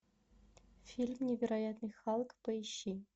фильм невероятный халк поищи